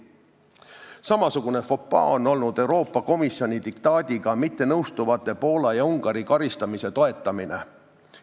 Samasugune fopaa on olnud Euroopa Komisjoni diktaadiga mittenõustuvate Poola ja Ungari karistamise toetamine.